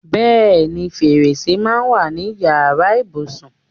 Bẹẹni, fèrèsé máa ń wà ní Ìyàrá ibùsùn.